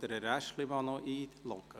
Herrn Aeschlimann noch einloggen?